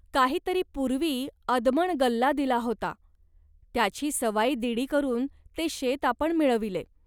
काही तरी पूर्वी अदमण गल्ला दिला होता. त्याची सवाईदिडी करून ते शेत आपण मिळविले